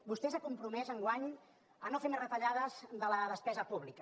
vostè s’ha compromès enguany a no fer més retallades de la despesa pública